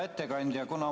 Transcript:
Hea ettekandja!